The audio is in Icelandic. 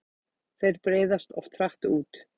Þeir breiðast oft hratt út.